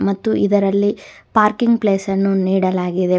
ಮತ್ತು ಇದರಲ್ಲಿ parking place ಅನ್ನು ನೀಡಲಾಗಿದೆ.